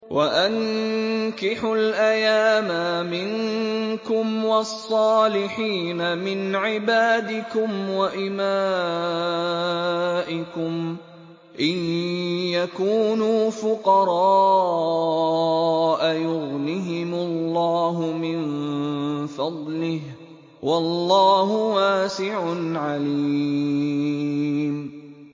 وَأَنكِحُوا الْأَيَامَىٰ مِنكُمْ وَالصَّالِحِينَ مِنْ عِبَادِكُمْ وَإِمَائِكُمْ ۚ إِن يَكُونُوا فُقَرَاءَ يُغْنِهِمُ اللَّهُ مِن فَضْلِهِ ۗ وَاللَّهُ وَاسِعٌ عَلِيمٌ